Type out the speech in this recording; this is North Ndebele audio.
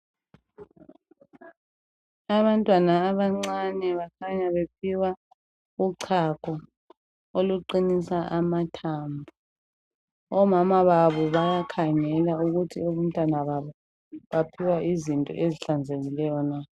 Abantwana abancane bakhanya bephiwa uchago oluqinisa amathambo. Omama babo bayakhangela ukuthi abantwana babo baphiwa izinto ezihlanzekileyo na.